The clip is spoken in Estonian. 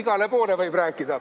Igale poole võib rääkida.